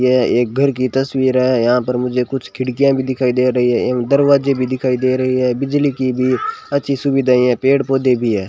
यह एक घर की तस्वीर है यहां पर मुझे कुछ खिड़कियां भी दिखाई दे रही है एवं दरवाजे भी दिखाई दे रही है बिजली की भी अच्छी सुविधा है पेड़-पौधे भी है।